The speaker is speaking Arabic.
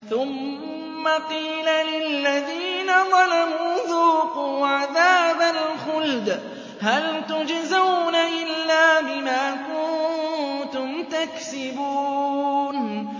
ثُمَّ قِيلَ لِلَّذِينَ ظَلَمُوا ذُوقُوا عَذَابَ الْخُلْدِ هَلْ تُجْزَوْنَ إِلَّا بِمَا كُنتُمْ تَكْسِبُونَ